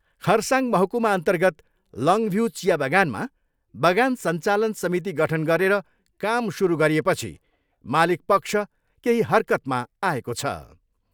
खरसाङ महकुमाअर्न्तगत लङ्भ्यू चिया बगानमा बगान सञ्चालन समिति गठन गरेर काम सुरु गरिएपछि मालिक पक्ष केही हरकतमा आएको छ।